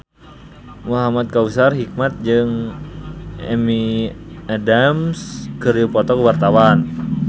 Muhamad Kautsar Hikmat jeung Amy Adams keur dipoto ku wartawan